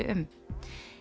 um